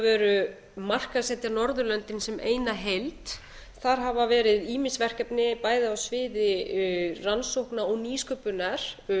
veru markaðssetja norðurlöndin sem eina heild þar hafa verið ýmis verkefni bæði á sviði rannsókna og nýsköpunar